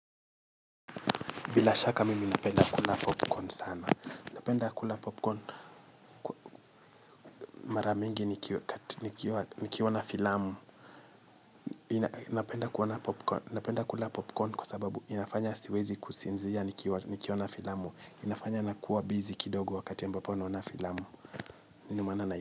Bila shaka mimi napenda kula popcorn sana. Napenda kula popcorn mara mingi nikiwa na filamu. Napenda kula popcorn kwa sababu inafanya siwezi kusinzia nikiona filamu. Inafanya nakuwa bizi kidogo wakati ambapa naona filamu.